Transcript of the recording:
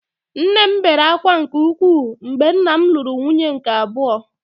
Nne m bere ákwá nke ukwuu mgbe nna m lụrụ nwunye nke abụọ